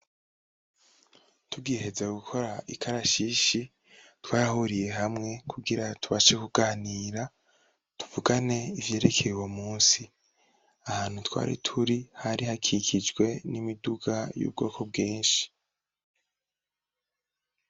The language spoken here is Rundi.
Tugiheza gukora ikarashishi, twarahuriye hamwe kugira tubashe kuganira, tuvugane ivyerekeye uwo munsi. Ahantu twari turi hari hakikijwe n'imiduga y'ubwoko bwinshi.